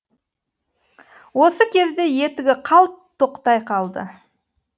осы кезде етігі қалт тоқтай қалды